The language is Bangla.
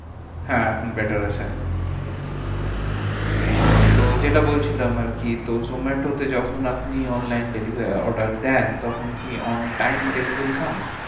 হ্যাঁ এখন better আছে। তো যেটা বলছিলাম আরকি, তো zomato তে যখন online delivery order দেন, তখন কি on time delivery পান?